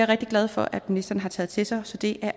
rigtig glad for at ministeren har taget til sig så det